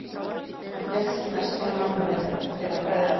Hann hélt sér mest til mannvirðingar þeirra bræðra.